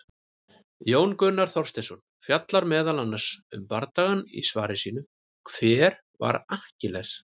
Jón Gunnar Þorsteinsson fjallar meðal annars um bardagann í svari sínu, Hver var Akkiles?